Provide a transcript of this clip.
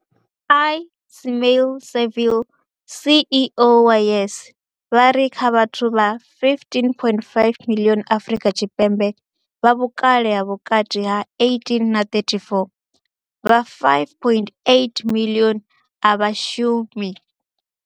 Ismail-Saville CEO wa YES, vha ri kha vhathu vha 15.5 miḽioni Afrika Tshipembe vha vhukale ha vhukati ha 18 na 34, vha 5.8 miḽioni a vha shumi.